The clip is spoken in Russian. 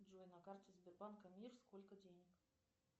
джой на карте сбербанка мир сколько денег